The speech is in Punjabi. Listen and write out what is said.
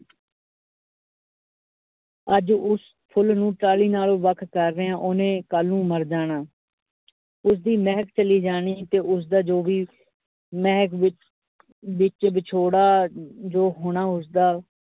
ਅੱਜ ਉਸ ਫੁੱਲ ਨੂੰ ਟਾਹਲੀ ਨਾਲ ਵੱਖ ਕਰ ਰਹੇ। ਓ ਉਹਨੇ ਕਲ ਨੂੰ ਮਰ ਜਾਣਾ ਉਸਦੀ ਮਹਿਕ ਚਲੀ ਜਾਣੀ ਹੈ ਤੇ ਉਸ ਦਾ ਜੋ ਵੀ ਮਹਿਕ ਵਿਚ ਵਿਚ ਵਿਛੋੜਾ ਜੋ ਹੋਣਾ। ਉਸਦਾ